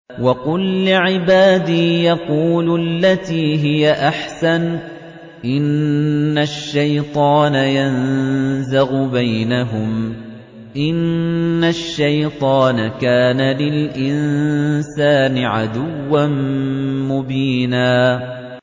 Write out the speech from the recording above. وَقُل لِّعِبَادِي يَقُولُوا الَّتِي هِيَ أَحْسَنُ ۚ إِنَّ الشَّيْطَانَ يَنزَغُ بَيْنَهُمْ ۚ إِنَّ الشَّيْطَانَ كَانَ لِلْإِنسَانِ عَدُوًّا مُّبِينًا